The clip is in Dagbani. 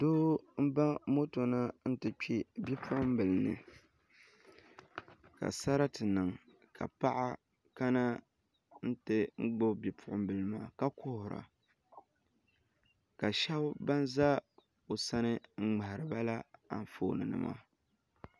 Doo n ba moto na ti kpɛ bipuɣunbili ni ka sarati niŋ ka paɣa kana n ti gbubi bipuɣunbili maa ka kuhura ka shab ba ʒɛ o sani n ŋmahariba la anfooni nima